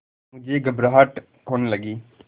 मुझे घबराहट होने लगी